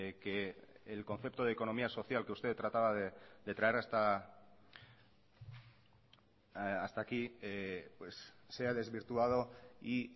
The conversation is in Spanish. que el concepto de economía social que usted trataba de traer hasta aquí pues se ha desvirtuado y